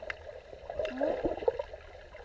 Mo